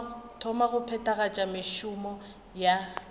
thoma go phethagatša mešomo ya